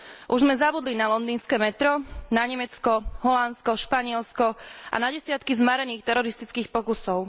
Už sme zabudli na londýnske metro, na Nemecko, Holandsko, Španielsko a na desiatky zmarených teroristických pokusov?